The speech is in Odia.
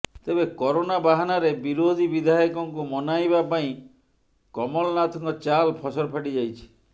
ତେବେ କରୋନା ବାହାନାରେ ବିରୋଧୀ ବିଧାୟକଙ୍କୁ ମନାଇବା ପାଇଁ କମଲନାଥଙ୍କ ଚାଲ୍ ଫସର ଫାଟି ଯାଇଛି